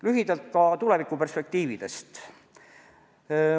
Lühidalt ka tulevikuperspektiividest.